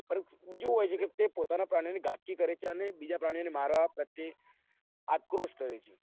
બીજું હું હોય છે કે પોતાના પ્રાણીઓ ની ગાપચી કરે છે અને બીજા પ્રાણીઓ ને મારવા પ્રત્યે અંતક્રોશ થયો છે